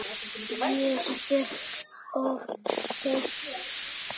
Ég stökk of seint.